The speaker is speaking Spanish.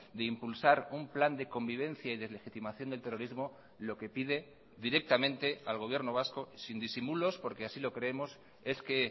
de impulsar un plan de convivencia y deslegitimación del terrorismo lo que pide directamente al gobierno vasco sin disimulos porque así lo creemos es que